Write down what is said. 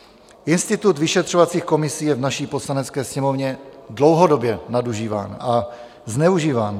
Institut vyšetřovacích komisí je v naší Poslanecké sněmovně dlouhodobě nadužíván a zneužíván.